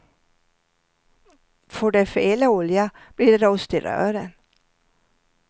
Får de fel olja, blir det rost i rören.